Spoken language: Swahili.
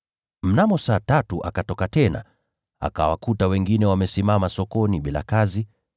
“Mnamo saa tatu akatoka tena, akawakuta wengine wamesimama sokoni bila kazi.